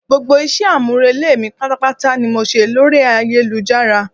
Gbogbo ìṣe àmúrelé mi pátá ni mo ṣe lórí ayélujára